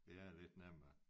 Det er lidt nemmere